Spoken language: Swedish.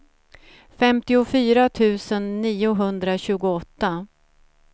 femtiofyra tusen niohundratjugoåtta